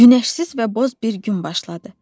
Günəşsiz və boz bir gün başladı.